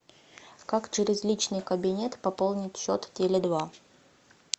как через личный кабинет пополнить счет теле два